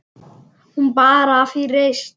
Hún bar af í reisn.